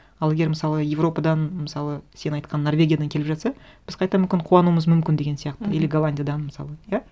ал егер мысалы европадан мысалы сен айтқан норвегиядан келіп жатса біз қайта мүмкін қуануымыз мүмкін деген сияқты мхм или голландиядан мысалы иә